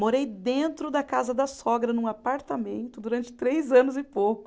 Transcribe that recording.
Morei dentro da casa da sogra, num apartamento, durante três anos e pouco.